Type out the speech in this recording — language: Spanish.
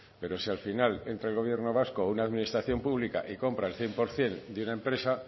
pero si al final entra el gobierno vasco o una administración pública y compra el cien por ciento de una empresa